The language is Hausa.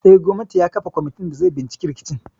Eh, gwamnan ya kafa kwamitin da zai binciki rikicin.